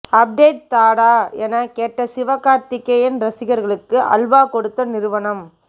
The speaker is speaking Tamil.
அப்டேட் தாடா என கேட்ட சிவகார்த்திகேயன் ரசிகர்களுக்கு அல்வா கொடுத்த நிறுவனம்